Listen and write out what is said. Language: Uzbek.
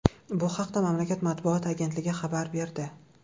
Bu haqda mamlakat matbuot agentligi xabar berdi .